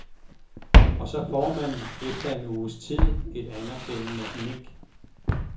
Og så får man, efter en uges tid, et anerkendende nik.